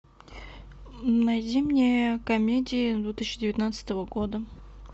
найди мне комедии две тысячи девятнадцатого года